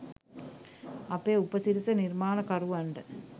අපේ උපසිරස නිර්මාණකරුවන්ට